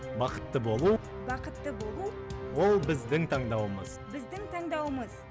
бақытты болу бақытты болу ол біздің таңдауымыз біздің таңдауымыз